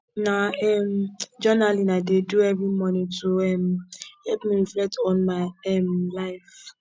na um journaling i dey do every morning to um help me reflect on my um life